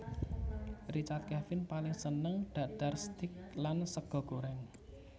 Richard Kevin paling seneng dhahar steak lan sega goreng